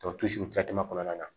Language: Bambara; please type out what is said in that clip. kɔnɔna na